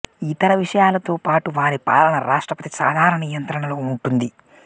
ఇతర విషయాలతోపాటు వారి పాలన రాష్ట్రపతి సాధారణ నియంత్రణలో ఉంటుంది